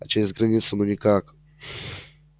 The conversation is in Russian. а через границу ну никак